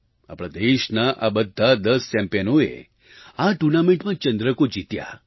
આપણા દેશના આ બધા દસ ચેમ્પિયનોએ આ ટુર્નામેન્ટમાં ચંદ્રકો જીત્યા